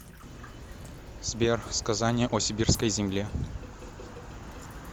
сбер сказание о сибирской земле